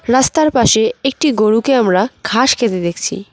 রাস্তার পাশে একটি গরুকে আমরা ঘাস খেতে দেখছি।